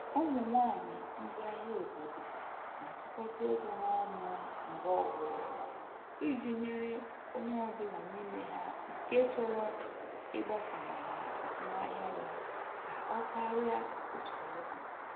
Ụmụ nwaanyị ndi ahịa obodo na-atụkọta ego ha ọnụ mgbe ọbụla iji nyere onye ọ bụla n'ime ha nke chọrọ ịgbasawanye azụmahịa ya ka ọ karịa otu ọ dị.